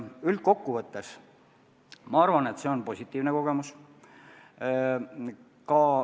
Üldkokkuvõttes arvan, et see on positiivne kogemus.